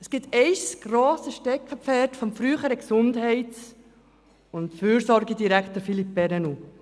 Es gibt ein grosses Steckenpferd des früheren Gesundheits- und Fürsorgedirektors Philippe Perrenoud: